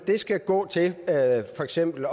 skal gå til for eksempel